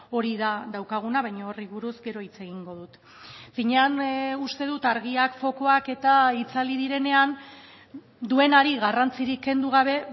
hori da daukaguna baina horri buruz gero hitz egingo dut finean uste dut argiak fokuak eta itzali direnean duenari garrantzirik kendu gabe